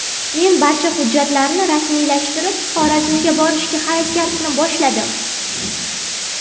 Men barcha hujjatlarni rasmiylashtirib, Xorazmga borishga harakatni boshladim.